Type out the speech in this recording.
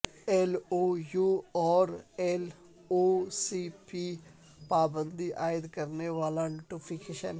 L O U اور L O C پر پابندی عائد کرنے والا نوٹیفکیشن